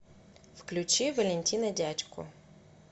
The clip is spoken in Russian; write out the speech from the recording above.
включи валентина дядьку